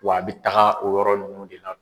Wa a bɛ taga o yɔrɔ nunnu de la.